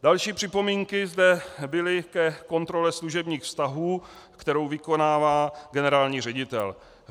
Další připomínky zde byly ke kontrole služebních vztahů, kterou vykonává generální ředitel.